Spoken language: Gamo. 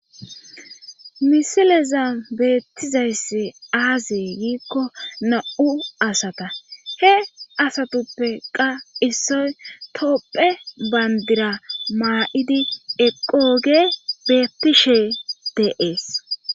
misileza beettizayssi aazee giikko na7u asata he asatuppe qa issoy topphe bandira maa7idi eqooge beetishe deees